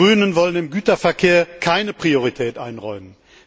Wir Grünen wollen dem Güterverkehr keine Priorität einräumen.